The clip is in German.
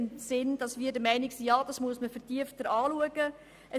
Dies im Sinne von: Wir sind der Meinung, dass es einer vertieften Prüfung bedarf.